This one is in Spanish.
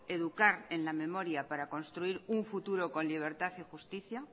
educar en la memoria para construir un futuro con libertad y justicia